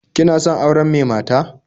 Kina son auren me mata?